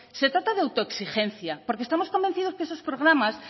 se trata de autoexigencia porque estamos convencidos que esos programas